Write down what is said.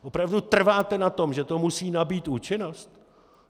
Opravdu trváte na tom, že to musí nabýt účinnost?